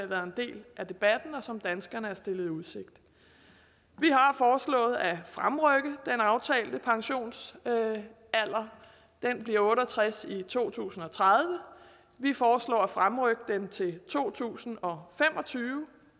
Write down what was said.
været en del af debatten og som danskerne er stillet i udsigt vi har foreslået at fremrykke den aftalte pensionsalder den bliver otte og tres i to tusind og tredive og vi foreslår at fremrykke den til to tusind og fem og tyve